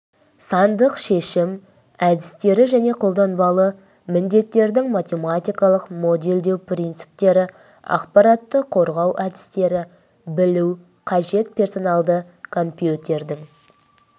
сандық шешім әдістері және қолданбалы міндеттердің математикалық модельдеу принциптері ақпаратты қорғау әдістері білу қажет персоналды компьютердің